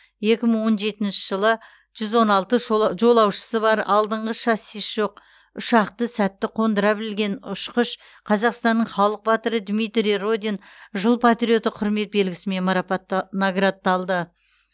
екі мың он жетінші жылы жүз он алты жолаушысы бар алдыңғы шассисі жоқ ұшақты сәтті қондыра білген ұшқыш қазақстанның халық батыры дмитрий родин жыл патриоты құрмет белгісімен наградталды